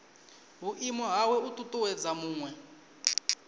vhuimo hawe u ṱuṱuwedza muṅwe